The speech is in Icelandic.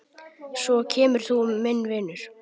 Svo kemur þú, minn vinur.